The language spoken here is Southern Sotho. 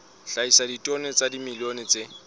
hlahisa ditone tsa dimilione tse